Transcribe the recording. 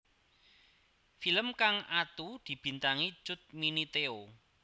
Film kang atu dibintangi Cut Mini Theo